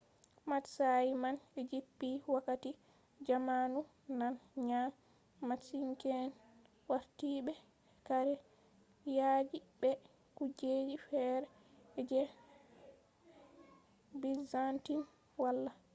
matsayi man jippi wakati jamanu nane ngam matsinke’en wartidibe kare yaaji be kujeji fere je byzantine wala